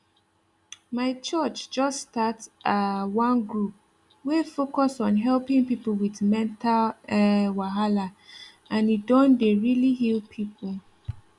my church just start um one group wey focus on helping people with mental um wahala and e don dey really heal people